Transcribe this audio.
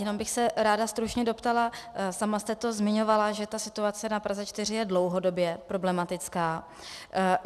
Jenom bych se ráda stručně doptala, sama jste to zmiňovala, že ta situace na Praze 4 je dlouhodobě problematická.